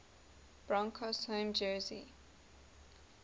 broncos home jersey